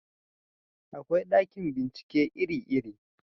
akwai ɗakin bincike iri iri